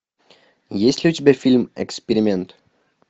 есть ли у тебя фильм эксперимент